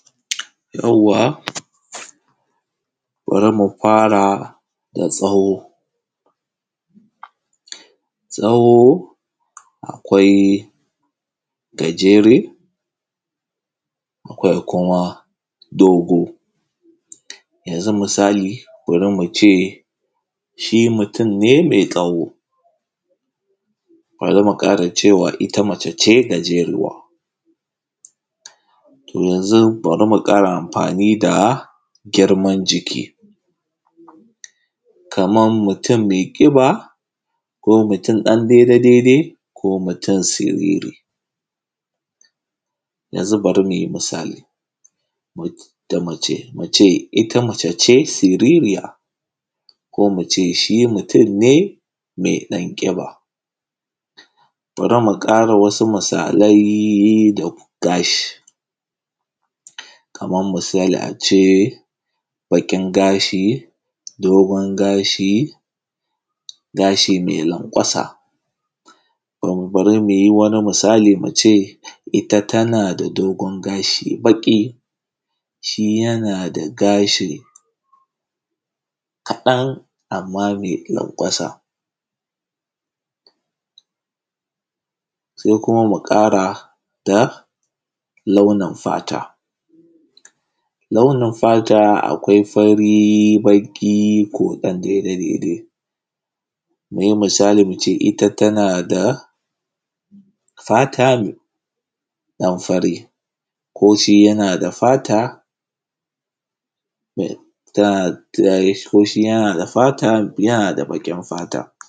Yauwa bara mu fara da tsawo, tsawo akwai gajere, akwai kuma dogo yanzu misali bari mu ce shi mutun me tsawo, bari mu ƙara cewa ita mace ce gajeruwa. Yanzun bari muƙara anfani da girman jiki kaman mutun mai ƙiba ko mutun ɗan daida, daidai ko mutun siriri yanzu bara mu yi misali da mace, mu ce ita mace ce siririya ko mu ce shi mutunne me ɗan ƙiba, bara mu ƙara wasu misalai da kuma gashi kaman misali a ce farin gashi dogon gashi, gashi ma lankwasa bara mu yi wani misali mu ce ita tana da dogon gashi baƙi, shi yana da gashi kaɗan, amma me lankwasa se kuma mu ƙara da launin fata, launin fata akwai fari, baƙi ko ɗaɗɗe mu yi misali, mu ce ita tana da fata me ɗan fari ko shi yana da gashi yana da fata yana da baƙin fata.